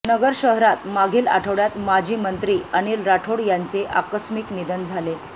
नगर शहरात मागील आठवड्यात माजी मंत्री अनिल राठोड यांचे आकस्मिक निधन झाले